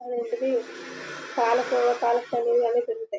అదేంటిది పాల కోవా పాలక పనీర్ అన్నీ దొరుకుతాయి.